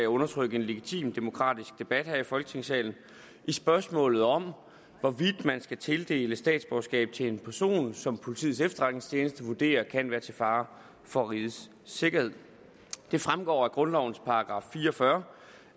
undertrykke en legitim demokratisk debat her i folketingssalen i spørgsmålet om hvorvidt man skal tildele statsborgerskab til en person som politiets efterretningstjeneste vurderer kan være til fare for rigets sikkerhed det fremgår af grundlovens § fire og fyrre